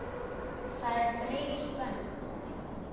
Það er breið spönn.